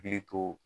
Hakili to